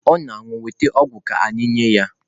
Ọ na-anwụ weta ọgwụ ka anyị nye ya.